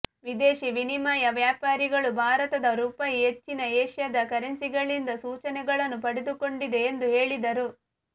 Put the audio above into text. ವಿದೇಶಿ ವಿನಿಮಯ ವ್ಯಾಪಾರಿಗಳು ಭಾರತದ ರೂಪಾಯಿ ಹೆಚ್ಚಿನ ಏಷ್ಯಾದ ಕರೆನ್ಸಿಗಳಿಂದ ಸೂಚನೆಗಳನ್ನು ಪಡೆದುಕೊಂಡಿದೆ ಎಂದು ಹೇಳಿದರು